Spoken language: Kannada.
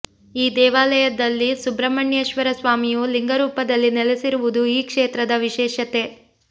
ಈ ದೇವಾಲಯದಲ್ಲಿ ಸುಬ್ರಹ್ಮಣ್ಯೇಶ್ವರ ಸ್ವಾಮಿಯು ಲಿಂಗ ರೂಪದಲ್ಲಿ ನೆಲೆಸಿರುವುದು ಈ ಕ್ಷೇತ್ರದ ವಿಶೇಷತೆ